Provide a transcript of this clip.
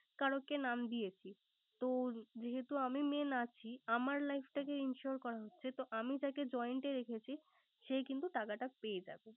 কারে কে নাম দিয়েছি। তো যেহেতু আমি Main আছি। আমার life টাকে ensure করা হচ্ছে। তো আমি তাকে joint এর রেখেছি। সে কিন্ত টাকাটা পেয়ে যাবে।